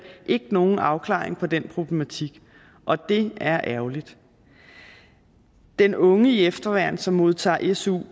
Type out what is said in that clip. ikke nogen afklaring på den problematik og det er ærgerligt den unge i efterværn som modtager su